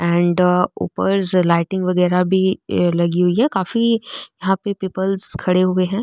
एंड ऊपर लाइटिंग वगेरा भी लगी हुई है काफी यहाँ पे पीपल्स खड़े हुए है।